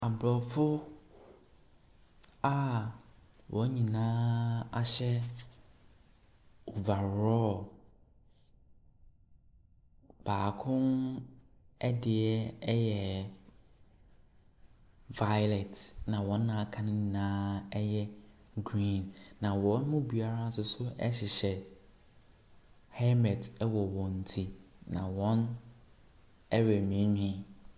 Aborɔfo a wɔn nyinaa ahyɛ overall, baako deɛ yɛ violet, ɛnna wɔn a aka no nyinaa yɛ green, na wɔn mu biara nso hyehyɛ helmet wɔ wɔn ti, na wɔrenwiinwii.